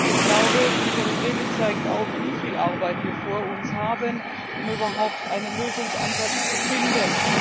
Ich glaube, Ihre Rede zeigt auf, wie viel Arbeit wir vor uns haben, um überhaupt einen Lösungsansatz zu finden.